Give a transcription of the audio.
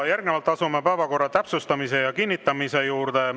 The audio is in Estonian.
Järgnevalt asume päevakorra täpsustamise ja kinnitamise juurde.